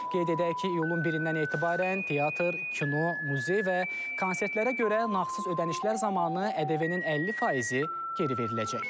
Qeyd edək ki, iyulun 1-dən etibarən teatr, kino, muzey və konsertlərə görə nağdsız ödənişlər zamanı ƏDV-nin 50 faizi geri veriləcək.